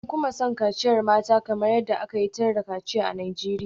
An kuma san kaciyar mata kamar yadda aka yi tir da kaciya a Najeriya.